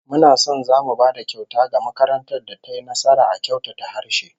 Muna son zamu ba da kyauta ga makarantar da tayi nasara a kyautata harshe